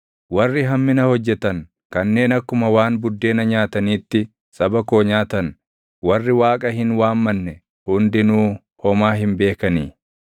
Warri hammina hojjetan, kanneen akkuma waan buddeena nyaataniitti saba koo nyaatan, warri Waaqa hin waammanne hundinuu homaa hin beekanii?